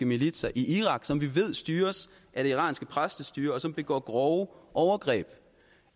militser i irak som vi ved styres af det iranske præstestyre og som begår grove overgreb og